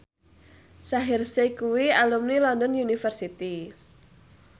Shaheer Sheikh kuwi alumni London University